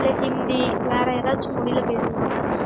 இல்ல ஹிந்தி வேற எதாச்சும் மொழியில பேசுவாங்க